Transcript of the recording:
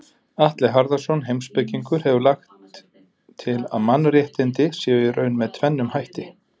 Atli Harðarson heimspekingur hefur lagt til að mannréttindi séu í raun með tvennum hætti.